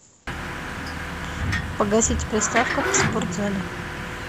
погасить приставка в спортзале